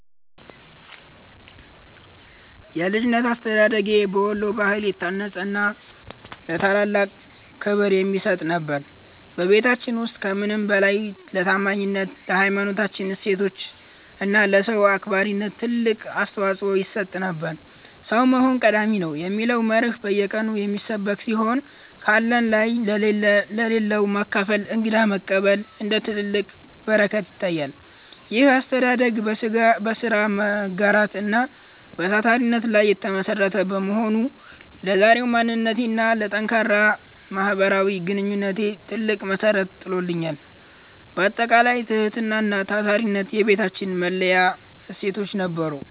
የልጅነት አስተዳደጌ በወሎ ባህል የታነጸና ለታላላቅ ክብር የሚሰጥበት ነበር። በቤታችን ውስጥ ከምንም በላይ ለታማኝነት፣ ለሀይማኖታዊ እሴቶች እና ለሰው አክባሪነት ትልቅ አፅንዖት ይሰጥ ነበር። "ሰው መሆን ቀዳሚ ነው" የሚለው መርህ በየቀኑ የሚሰበክ ሲሆን፣ ካለን ላይ ለሌለው ማካፈልና እንግዳ መቀበል እንደ ትልቅ በረከት ይታያል። ይህ አስተዳደግ በሥራ መጋራት እና በታታሪነት ላይ የተመሠረተ በመሆኑ፣ ለዛሬው ማንነቴና ለጠንካራ ማህበራዊ ግንኙነቴ ትልቅ መሠረት ጥሎልኛል። ባጠቃላይ፣ ትህትናና ታታሪነት የቤታችን መለያ እሴቶች ነበሩ።